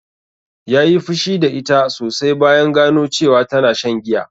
Ya yi fushi da ita sosai bayan gano cewa tana shan giya